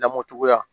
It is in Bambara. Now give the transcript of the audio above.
Lamɔ cogoya